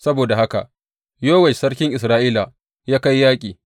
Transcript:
Saboda haka Yowash sarkin Isra’ila ya kai yaƙi.